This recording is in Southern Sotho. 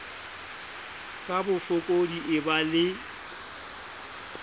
ka bofokodi e ba le